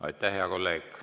Aitäh, hea kolleeg!